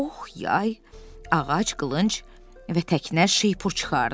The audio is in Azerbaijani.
Ox, yay, ağac qılınc və təknə şeypur çıxardı.